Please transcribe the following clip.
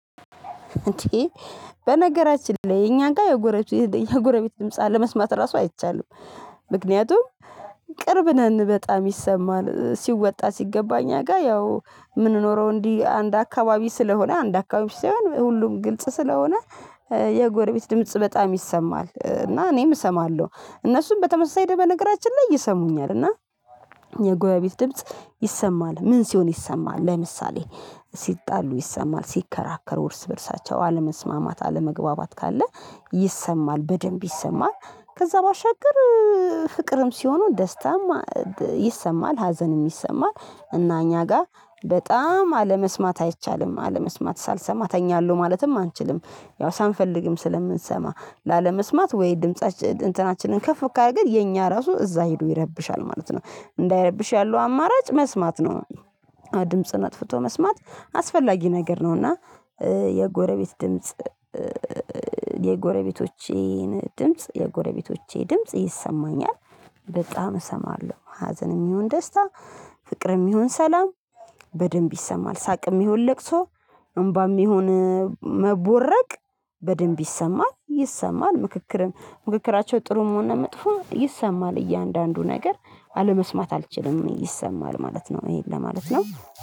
እንዴ በነገራችን ላይ አኛ ጋ የጎረቤት የኛ ጎረቤት ድምጽ አለመስማት ራሱ አይቻልም። ምክንያቱም ቅርብ ነን በጣም ይሰማል ሲወጣ ሲገባ እኛ ጋር ያው የምንኖረው እንዲህ አንድ አካባቢ ስለሆነ አንድ አካባቢ ሲሆን ሁሉም ግልጽ ስለሆነ የጎረቤት ድምጽ በጣም ይሰማል እና እኔም እሰማለሁ። እነሱም በተመሳሳይ ደበ በነገራችን ላይ ይሰሙኛል እና የጎረቤት ድምጽ ይሰማል ምን ሲሆን ይሰማል ለምሳሌ ሲጣሉ ይሰማል ሲከራከሩ እርስ በእርሳቸው አለመስማማት አለመግባባት ካለ ይሰማል በደንብ ይሰማል። ከዛ ባሻገር ፍቅርም ሲሆኑ ደስታም ይሰማል ሀዘንም ይሰማል። እና እኛ ጋር በጣም አለመስማት አይቻልም አለመስሰማት ሳልሰማ እተኛለሁ ማለትም አንችልም። ያው ሳንፈልግም ስለምንሰማ ላለመስማት ወይ ድምፃችን እንትናችንን ከፍ ካደረገ የኛ ራሱ እዛ ሄዶ ይረብሻል ማለት ነው። እንዳይረብሽ ያለው አማራጭ መስማት ነው። ድምጽን አጥፍቶ መስማት አስፈላጊ ነገር ነው። እና የጎረቤት ድምጽ የጎረቤቶቼን ድምጽ የጎረቤቶቼ ድምጽ ይሰማኛል። በጣም እሰማለሁ ሀዘንም ይሁን ደስታ ፍቅርም ይሁን ሰላም በደንብ ይሰማል ሳቅም ይሁን ለቅሶ እምባም ይሁን መቦረቅ በደንብ ይሰማል። ይሰማል ምክክር ምክክራቸው ጥሩም ሆነ መጥፎ ይሰማል እያንዳንዱ ነገር አለመስማት አልችልም ይሰማል ማለት ነው። ይሄን ለማለት ነው